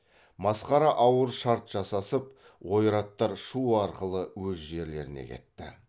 масқара ауыр шарт жасасып ойраттар шу арқылы өз жерлеріне кетті